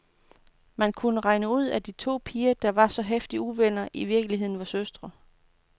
Man kunne regne ud, at de to piger, der var så heftige uvenner, i virkeligheden var søstre.